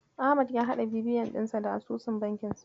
Ahmad ya haɗa BVN dinsa da asusun bankinsa.